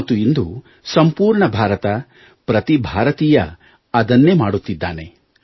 ಮತ್ತು ಇಂದು ಸಂಪೂರ್ಣ ಭಾರತ ಪ್ರತಿ ಭಾರತೀಯ ಅದನ್ನೇ ಮಾಡುತ್ತಿದ್ದಾನೆ